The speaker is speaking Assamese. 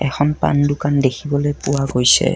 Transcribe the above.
এখন পান দোকান দেখিবলৈ পোৱা গৈছে।